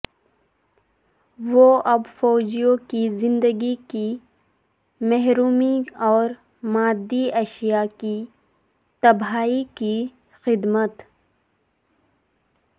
وہ اب فوجیوں کی زندگی کی محرومی اور مادی اشیاء کی تباہی کی خدمت